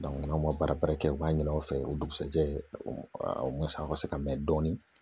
n'aw ma baara kɛ u b'a ɲini aw fɛ o dugusajɛ a ka se ka mɛ dɔɔnin